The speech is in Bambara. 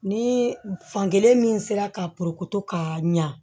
Ni fankelen min sera ka ka ɲa